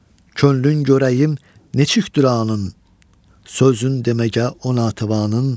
Könlün görəyim neçüktür anın, sözün deməgə ona tavanın.